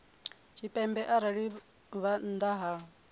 tshipembe arali vha nnḓa ha